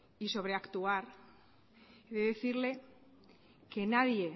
y sobreactuar he de decirle que nadie